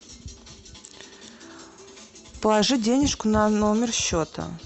положить денежку на номер счета